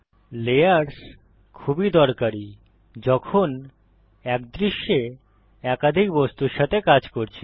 layers খুবই দরকারী যখন এক দৃশ্যে একাধিক বস্তুর সাথে কাজ করছি